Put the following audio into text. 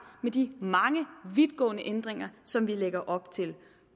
med de mange vidtgående ændringer som vi lægger op til